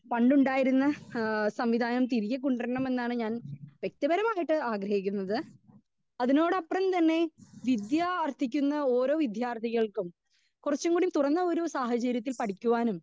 speaker 2 അന്ന് ഇണ്ടായിരുന്ന ഏഹ് സംവിദായം തിരികെ കൊണ്ട്റണം എന്നാണ് ഞാൻ വ്യെക്തി പരമായിട്ട് ആഗ്രഹിക്കുന്നത് അതിനോട് അപ്രം തന്നെ വിദ്യാ ആർത്ഥിക്കുന്ന ഓരോ വിദ്യാർത്ഥികൾക്കും കുറച്ചുകൂടി തുറന്ന ഒരു സാഹചര്യത്തിൽ പഠിക്കുവാനും